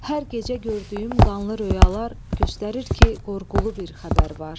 Hər gecə gördüyüm qanlı röyalar göstərir ki, qorğulu bir xəbər var.